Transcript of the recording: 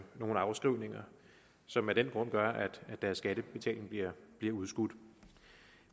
afskrivninger som af den grund gør at deres skattebetaling bliver bliver udskudt